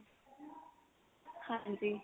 ਹਾਂਜੀ